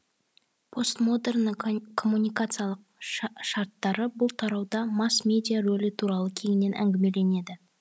постмодерннің коммуникациялық шарттары бұл тарауда масс медиа рөлі туралы кеңінен әңгімеленеді